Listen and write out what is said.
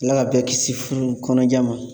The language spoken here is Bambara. Ala ka bɛɛ kisi furu kɔnɔja ma.